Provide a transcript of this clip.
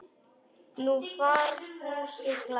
Nú var Fúsi glaður.